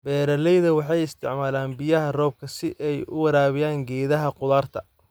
Beeraleyda waxay isticmaalaan biyaha roobka si ay u waraabiyaan geedaha khudaarta.